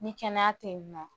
Ni kɛnɛya te yen nɔn